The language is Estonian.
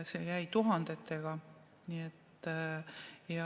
See jäi tuhandetesse.